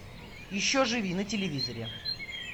еще живи на телевизоре